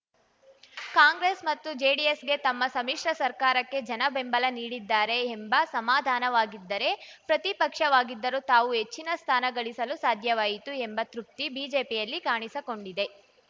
ಕಾಂಗ್ರೆಸ್‌ ಮತ್ತು ಜೆಡಿಎಸ್‌ಗೆ ತಮ್ಮ ಸಮ್ಮಿಶ್ರ ಸರ್ಕಾರಕ್ಕೆ ಜನ ಬೆಂಬಲ ನೀಡಿದ್ದಾರೆ ಎಂಬ ಸಮಾಧಾನವಾಗಿದ್ದರೆ ಪ್ರತಿಪಕ್ಷವಾಗಿದ್ದರೂ ತಾವು ಹೆಚ್ಚಿನ ಸ್ಥಾನ ಗಳಿಸಲು ಸಾಧ್ಯವಾಯಿತು ಎಂಬ ತೃಪ್ತಿ ಬಿಜೆಪಿಯಲ್ಲಿ ಕಾಣಿಸಕೊಂಡಿದೆ